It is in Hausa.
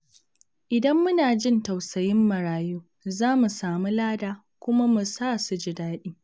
Idan muna jin tausayin marayu, za mu samu lada kuma mu sa su ji daɗi.